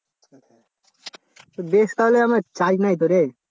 বেশ তাহলে আমার charge নাই তো রে